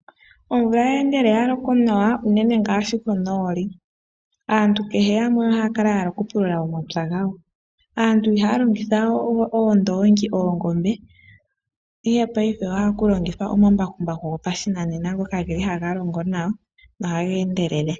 Omvula ngele yaloka nawa unene ngaashi konooli aantu kehe yamwe ohaya kala yahala okupulula omapya gawo. Aantu ihaya longithawe oondoongi nenge oongombe ihe paife ohaya longitha omambakumbaku gopashinanena ngoka haga longo nawa nohaga endelele.